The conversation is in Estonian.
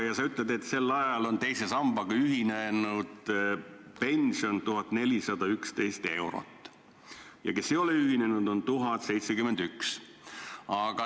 Sa ütled, et sel ajal on teise sambaga ühinenutel pension 1411 eurot ja neil, kes ei ole ühinenud, 1071 eurot.